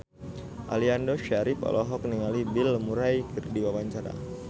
Aliando Syarif olohok ningali Bill Murray keur diwawancara